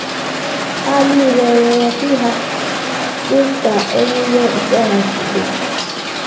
Ha nile rịọrọ chi ha dị ka ememe okpukpe ha si dị.